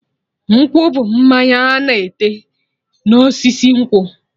Nkwụ bụ mmanya ana ete na osisi nkwụ